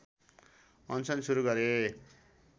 अनसन सुरू गरे